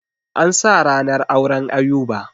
An sa ranar auren Ayuba.